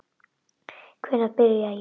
Hvenær byrja jólin?